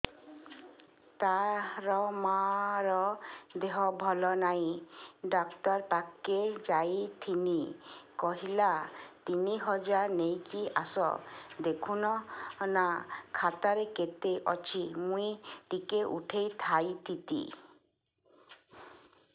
ତାର ମାର ଦେହେ ଭଲ ନାଇଁ ଡାକ୍ତର ପଖକେ ଯାଈଥିନି କହିଲା ତିନ ହଜାର ନେଇକି ଆସ ଦେଖୁନ ନା ଖାତାରେ କେତେ ଅଛି ମୁଇଁ ଟିକେ ଉଠେଇ ଥାଇତି